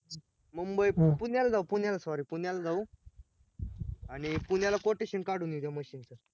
मुंबई? पुण्याला जाऊ पुण्याला sorry पुण्याला जाऊ आणि पुण्याला quotation काडून घेऊ machine च